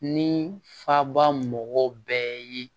Ni faba mɔgɔw bɛɛ ye